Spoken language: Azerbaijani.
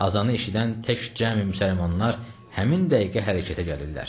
Azanı eşidən tək cəmi müsəlmanlar həmin dəqiqə hərəkətə gəlirlər.